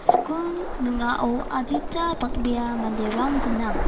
skul ning·ao adita bang·bea manderang gnang.